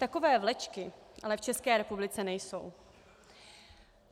Takové vlečky ale v České republice nejsou.